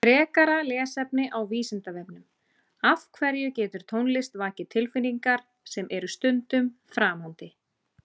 Þar sem mikið álag er á mælum er hættara við bilunum en ella.